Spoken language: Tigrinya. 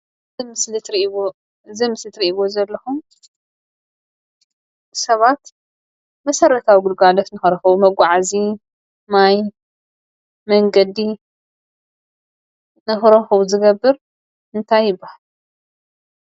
እዚ ኣብ ምስሊ እትሪእዎ ዘለኹም ሰባት መሰረታዊ ግልጋሎት ንኽረኽቡ መጓዓዚ ማይን መንገዲ ንኽረኽቡ ዝገብር እንታይ ይብሃል?